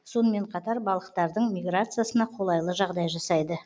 сонымен қатар балықтардың миграциясына қолайлы жағдай жасайды